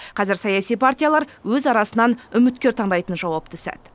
қазір саяси партиялар өз арасынан үміткер таңдайтын жауапты сәт